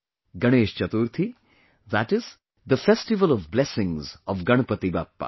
Ganesh Chaturthi, that is, the festival of blessings of Ganpati Bappa